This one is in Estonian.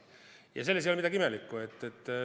Ja selles ei ole midagi imelikku.